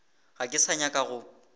ga ke sa nyaka go